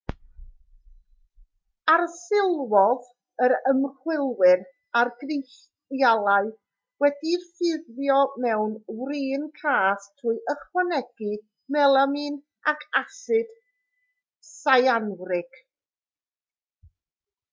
arsylwodd yr ymchwilwyr ar grisialau wedi'u ffurfio mewn wrin cath trwy ychwanegu melamin ac asid syanwrig